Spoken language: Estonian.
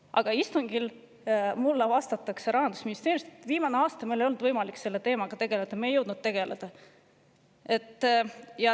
Aga istungil vastas Rahandusministeeriumi esindaja mulle, et viimasel aastal ei ole neil olnud võimalik selle teemaga tegeleda, nad ei ole jõudnud sellega tegeleda.